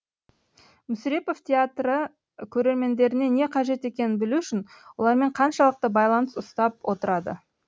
мүсірепов театры көрермендеріне не қажет екенін білу үшін олармен қаншалықты байланыс ұстап отырады